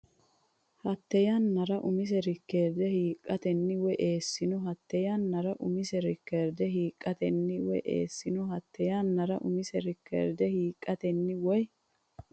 Hatte yannara umisi reekoorde hiiqqatenni woyy- eessino Hatte yannara umisi reekoorde hiiqqatenni woyy- eessino Hatte yannara umisi reekoorde hiiqqatenni woyy-.